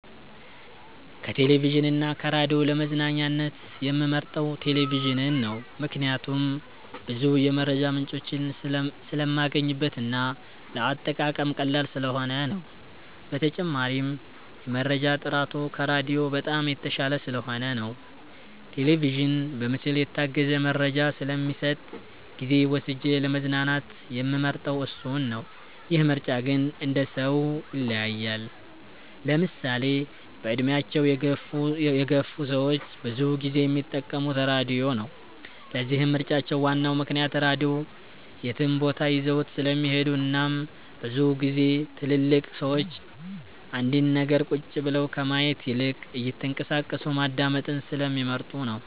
ከቴሌቪዥን እና ከራዲዮ ለመዝናኛነት የምመርጠው ቴሌቪዥንን ነው። ምክንያቴም ብዙ የመረጃ ምንጮችን ስለማገኝበት እና ለአጠቃቀም ቀላል ስለሆነ ነው። በተጨማሪም የመረጃ ጥራቱ ከራዲዮ በጣም የተሻለ ስለሆነ ነው። ቴሌቪዥን በምስል የታገዘ መረጃ ስለሚሰጥ ጊዜ ወስጄ ለመዝናናት የምመርጠው እሱን ነው። ይህ ምርጫ ግን እንደሰው ይለያያል። ለምሳሌ በእድሜያቸው የገፍ ሰዎች ብዙ ጊዜ የሚጠቀሙት ራድዮ ነው። ለዚህም ምርጫቸው ዋናው ምክንያት ራድዮ የትም ቦታ ይዘውት ስለሚሄዱ እናም ብዙ ግዜ ትልልቅ ሰዎች አንድን ነገር ቁጭ ብለው ከማየት ይልቅ እየተንቀሳቀሱ ማዳመጥን ስለሚመርጡ ነው።